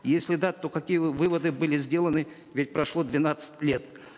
если да то какие выводы были сделаны ведь прошло двенадцать лет